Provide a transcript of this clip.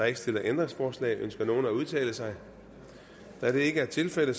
ikke stillet ændringsforslag ønsker nogen at udtale sig da det ikke er tilfældet